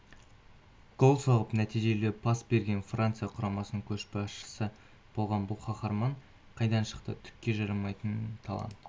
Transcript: гол соғып нәтижелі пас берген франция құрамасының көшбасшысы болған бұл қаһарман қайдан шықты түкке жарамайтын талант